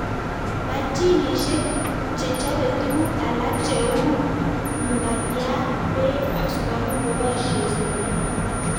Machinishek che chope tuguk alak cheu mukatiat peek ak sukaruk ko boishe stimet